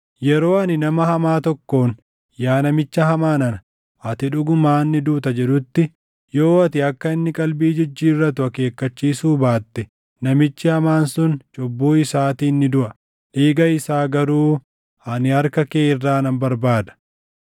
Yeroo ani nama hamaa tokkoon, ‘Yaa namicha hamaa nana, ati dhugumaan ni duuta’ jedhutti, yoo ati akka inni qalbii jijjiirratu akeekkachiisuu baatte namichi hamaan sun cubbuu isaatiin ni duʼa; dhiiga isaa garuu ani harka kee irraa nan barbaada.